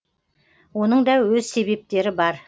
оның да өз себептері бар